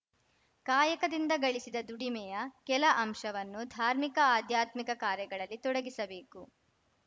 ಕಾಯಕದಿಂದ ಗಳಿಸಿದ ದುಡಿಮೆಯ ಕೆಲ ಅಂಶವನ್ನು ಧಾರ್ಮಿಕ ಆಧ್ಯಾತ್ಮಿಕ ಕಾರ್ಯಗಳಲ್ಲಿ ತೊಡಗಿಸಬೇಕು